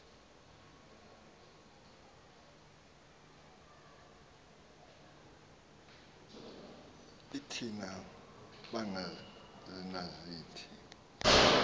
l thina bangenazitiki